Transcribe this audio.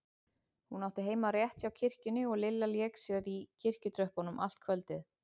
Hún átti heima rétt hjá kirkjunni og Lilla lék sér í kirkjutröppunum allt kvöldið.